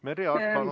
Merry Aart, palun!